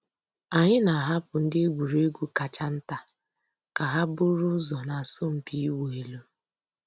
Ányị́ nà-àhapụ́ ndị́ ègwùrégwú kàchà ntá kà hà búrú ụ́zọ́ nà àsọ̀mpị́ ị̀wụ́ èlú.